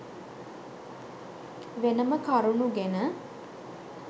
වෙනම කරුණු ගෙන